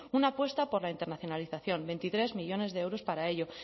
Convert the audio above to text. una apuesta por la internacionalización veintitrés millónes de euros para ello